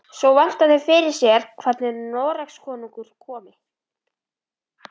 Svo velta þau fyrir sér hvernig Noregskonungur komi.